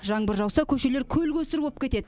жаңбыр жауса көшелер көл көсір боп кетеді